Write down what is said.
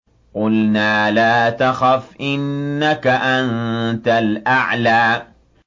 قُلْنَا لَا تَخَفْ إِنَّكَ أَنتَ الْأَعْلَىٰ